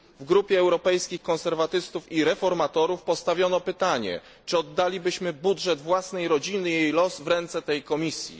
W Grupie Europejskich Konserwatystów i Reformatorów postawiono pytanie czy oddalibyśmy budżet własnej rodziny i jej los w ręce tej Komisji?